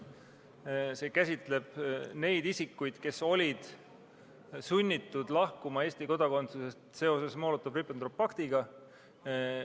Muudatus käsitleb neid isikuid, kes olid sunnitud lahkuma Eesti kodakondsusest seoses Molotovi-Ribbentropi paktiga.